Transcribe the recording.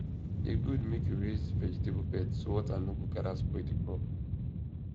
e good make you raise vegetable beds so water no go gather spoil the crop